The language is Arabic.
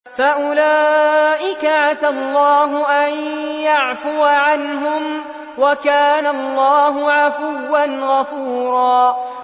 فَأُولَٰئِكَ عَسَى اللَّهُ أَن يَعْفُوَ عَنْهُمْ ۚ وَكَانَ اللَّهُ عَفُوًّا غَفُورًا